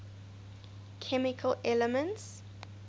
chemical elements